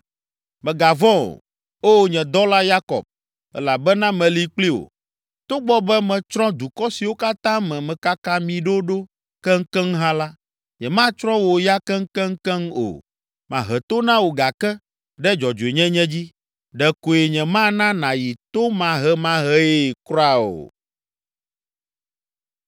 Mègavɔ̃ o, O nye dɔla Yakob, elabena meli kpli wò. Togbɔ be metsrɔ̃ dukɔ siwo katã me mekaka mi ɖo ɖo keŋkeŋ hã la, nyematsrɔ̃ wò ya keŋkeŋkeŋ o. Mahe to na wò gake ɖe dzɔdzɔenyenye dzi; Ɖekoe nyemana nàyi tomahemahee kura o.”